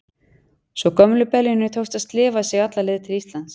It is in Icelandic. Svo gömlu beljunni tókst að slefa sig alla leið til Íslands.